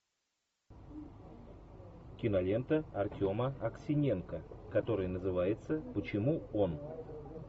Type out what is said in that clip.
кинолента артема аксененко которая называется почему он